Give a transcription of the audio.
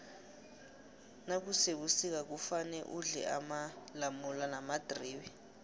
nakusebusika kufane udle amalamula namadribe